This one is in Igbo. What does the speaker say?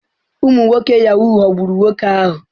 Ụmụ nwoke Yahoo ghọgburu nwoke ahụ.